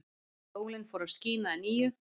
Sólin fór að skína að nýju.